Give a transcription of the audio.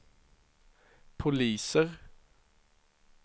poliser